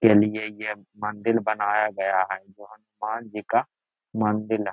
ये मंदिर बनाया गया है जो हनुमान जी का मंदिर है।